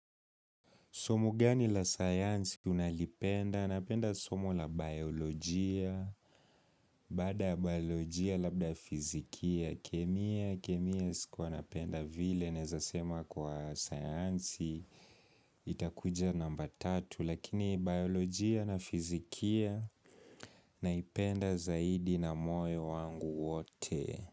Somo gani la sayansi unalipenda? Napenda somo la biolojia, baada biolojia labda fizikia, kemia, kemia sikuwa napenda vile, naweza sema kwa sayansi, itakuja namba tatu. Lakini biolojia na fizikia naipenda zaidi na moyo wangu wote.